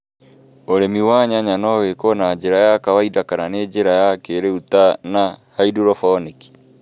ũrĩmi wa nyanya no wĩkũo na njĩra ya kawainda kana na njĩra ya kĩĩriũ ta na haindorobonĩki